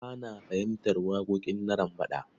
Ba na fahimtar waƙoƙin Narambaɗa.